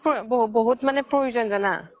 বহুত মানে প্ৰয়োজ্ন জানা